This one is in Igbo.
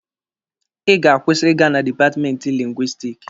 Ị ga-akwụsị ịga na dipatmenti Lingwisitiki!